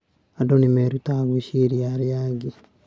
Andũ nĩ merutaga gwĩciria arĩa angĩ.